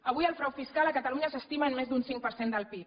avui el frau fiscal a catalunya s’estima en més d’un cinc per cent del pib